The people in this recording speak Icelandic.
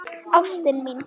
Ástin mín.